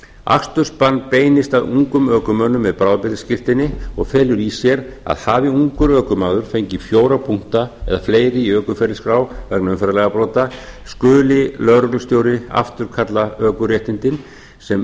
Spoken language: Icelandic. akstursbann beinist að ungum ökumönnum með bráðabirgðaskírteini og felur í sér að hafi ungur ökumaður fengið fjóra punkta eða fleiri í ökuferilsskrá vegna umferðarlagabrota skuli lögreglustjóri afturkalla ökuréttindin sem